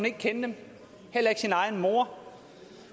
ikke kende dem heller ikke sin egen mor